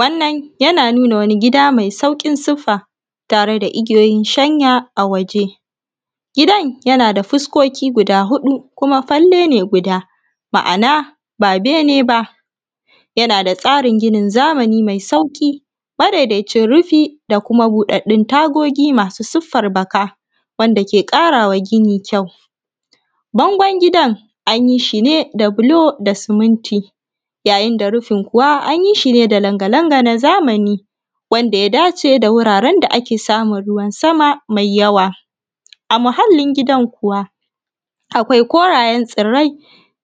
Wannan yana nuna wani gida mai sauƙin siffa tare da igiyoyin shanya a waje. Gidan yana da fuskoki guda huɗu kumafalle ne guda, ma’ana ba bene baa. yana da tsarin ginin zamani mai sauƙi, madaidacin rufi da kuma buɗaɗɗun tagogi masu siffar baka, wanda ke ƙara wa gini kyau. Bangon gidan an yi shi ne da buloo da suminti, yayin da rufin kuwa anyi shi ne da langa-langa na zamani wanda ya daace da wuraaren da ake samun ruwan sama mai yawa. A muhallin gidan kuwa, akwai korayen tsirrai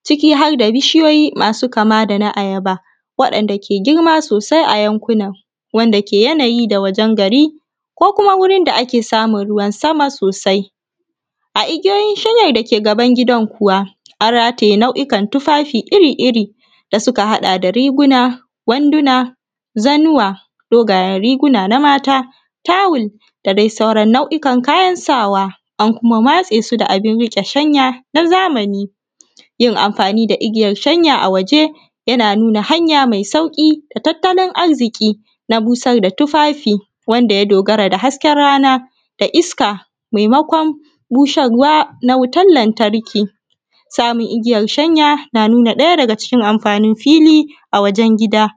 ciki har da bishiyoyi masu kama da na ayaba waɗanda ke girma sosai a yankunan. Wanda ke yanayi da wajen gari ko kuma wurin da ake samun ruwan sama sosai. A igiyoyin shanyar dake gaban gidan kuwa, an rataye nau’ukan tufafi iri-iri, da suka haɗa da riguna, wanduna, zannuwa, dogayen riguna na mata, tawul da dai sauran nau’ukan kayan sa wa, an kuma matse su da abin riƙe shanya na zamani. Yin amfanii da igiyar shanya a waje yana nunaa hanya mai sauƙi da tattalin arziƙi na busar da tufafi wanda ya dogara da hasken rana da iska maimakon busar wa na wutar lantarki. Samun igiyar shanya yana nunaa ɗaya daga cikin amfanii fili a wajen gida.